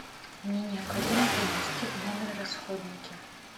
мне необходимо принести в номер расходники